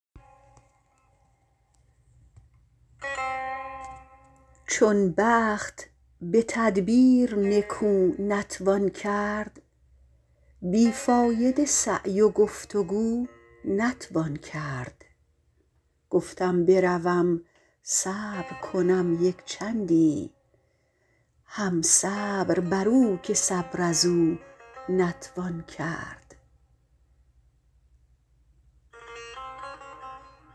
چون بخت به تدبیر نکو نتوان کرد بیفایده سعی و گفت و گو نتوان کرد گفتم بروم صبر کنم یک چندی هم صبر برو که صبر ازو نتوان کرد